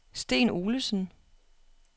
Sten Olesen